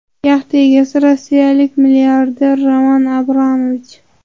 Yaxta egasi rossiyalik milliarder Roman Abramovich.